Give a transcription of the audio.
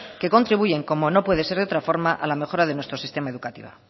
que contribuyen como no puede ser de otra forma a la mejora de nuestro sistema educativo